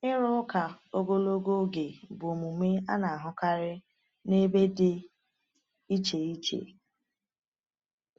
Ịrụ ụka ogologo oge bụ omume a na-ahụkarị n’ebe dị iche iche.